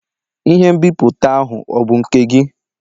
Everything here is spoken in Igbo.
Ihe nbipute ahụ ọ bụ nke gị?